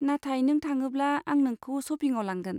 नाथाय नों थाङोब्ला आं नोंखौ शपिंआव लांगोन।